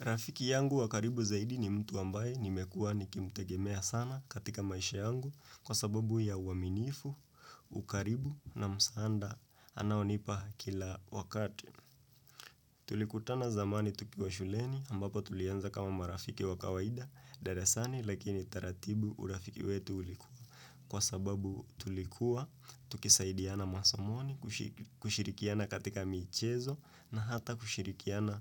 Rafiki yangu wa karibu zaidi ni mtu ambaye nimekuwa nikimtegemea sana katika maisha yangu kwa sababu ya uaminifu, ukaribu na msaada anaonipa kila wakati. Tulikutana zamani tukiwa shuleni ambapo tulianza kama marafiki wa kawaida darasani lakini taratibu urafiki wetu ulikuwa kwa sababu tulikuwa tukisaidiana masomoni kushirikiana katika michezo na hata kushirikiana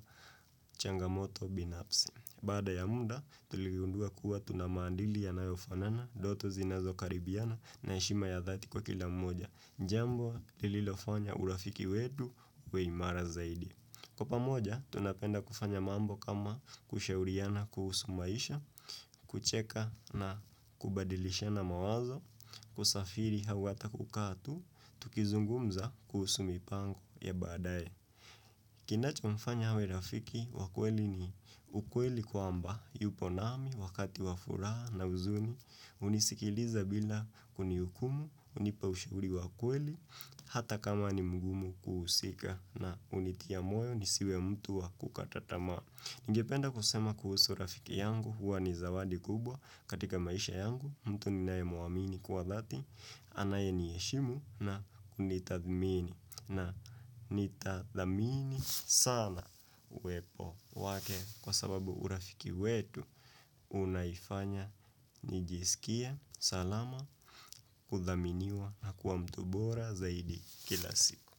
changamoto binafsi. Baada ya muda, tulikundua kuwa tunamandili yanayofanana, ndoto zinazo karibiana na ishima ya dhati kwa kila mmoja. Jambo lililofanya urafiki wedu weimara zaidi. Kwa pamoja, tunapenda kufanya mambo kama kushauriana kuhusumaisha, kucheka na kubadilishana mawazo, kusafiri hawata kukatu, tukizungumza kuhusumi pango ya baadae. Kinachomfanya hawe rafiki wa kweli ni ukweli kwamba, yupo nami, wakati wa furaha na uzuni, unisikiliza bila kunihukumu, unipa ushuri wakweli, hata kama ni mgumu kuhusika na unitia moyo ni siwe mtu wa kukatatama. Ningependa kusema kuhusu urafiki yangu huwa ni zawadi kubwa katika maisha yangu mtu ninayemuamini kuwa dhati anaye niheshimu na kunitathmini na nitathmini sana uwepo wake kwa sababu urafiki wetu unaifanya nijisikia salama kuthaminiwa na kuwa mtu bora zaidi kila siku.